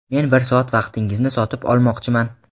men bir soat vaqtingizni sotib olmoqchiman.